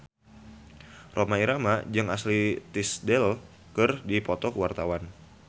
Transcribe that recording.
Rhoma Irama jeung Ashley Tisdale keur dipoto ku wartawan